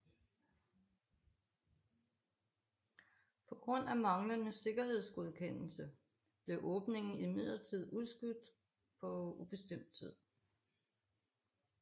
På grund af manglende sikkerhedsgodkendelse blev åbningen imidlertid udskudt på ubestemt tid